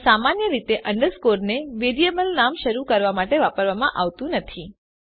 પણ સામાન્ય રીતે અંડરસ્કોર ને વેરીએબલ નામ શરુ કરવા માટે વાપરવામાં આવતું નથી